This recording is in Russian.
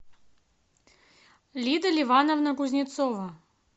лида ливановна кузнецова